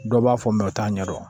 Dɔ b'a fɔ o t'a ɲɛdɔn